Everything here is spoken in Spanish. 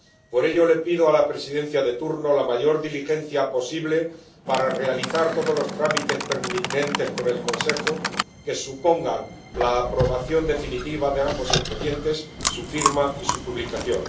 Por ello le pido a la Presidencia de turno la mayor diligencia posible para realizar todos los trámites pertinentes con el Consejo que supongan la aprobación definitiva de ambos expedientes, su firma y su publicación.